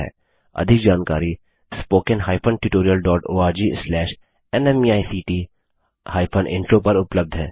अधिक जानकारी spoken hyphen tutorial dot ORG slash NMEICT hyphen intro पर उपलब्ध है